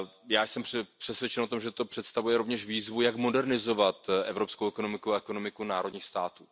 Já jsem přesvědčen o tom, že to představuje rovněž výzvu, jak modernizovat evropskou ekonomiku a ekonomiku národních států.